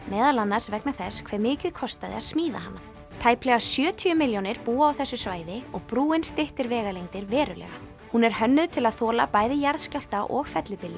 meðal annars vegna þess hve mikið kostaði að smíða hana tæplega sjötíu milljónir búa á þessu svæði og brúin styttir vegalengdir verulega hún er hönnuð til að þola bæði jarðskjálfta og